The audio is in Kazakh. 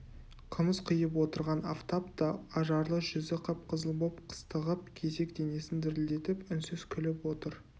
қымыз құйып отырған афтап та ажарлы жүзі қып-қызыл боп қыстығып кесек денесін дірілдетіп үнсіз күліп отыр